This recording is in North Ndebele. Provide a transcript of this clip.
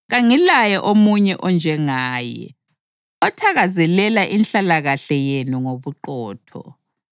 Kangilaye omunye onjengaye, othakazelela inhlalakahle yenu ngobuqotho.